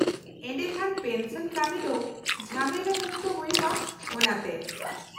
-ᱮᱰᱮᱠᱷᱟᱱ, ᱯᱮᱱᱥᱚᱱ ᱠᱟᱹᱢᱤ ᱫᱚ ᱡᱷᱟᱢᱮᱞᱟ ᱢᱩᱠᱛᱚ ᱦᱳᱭᱳᱜᱼᱟ, ᱚᱱᱟ ᱛᱮ ?